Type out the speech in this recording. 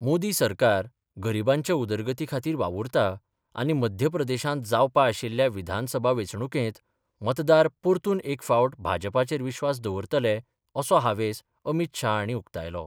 मोदी सरकार गरीबांच्या उदरगती खातीर वावुरता आनी मध्य प्रदेशात जावपा आशिल्ल्या विधानसभा वेचणुकेत, मतदार परतून एक फावट भाजपाचेर विश्वास दवरतले असो हावेस अमीत शहा हाणी उक्तायलो.